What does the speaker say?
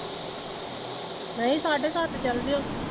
ਨਹੀਂ ਸਾਢੇ ਸੱਤ ਚਲਜਿਓ।